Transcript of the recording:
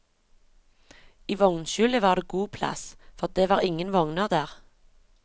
I vognskjulet var det god plass, for det var ingen vogner der.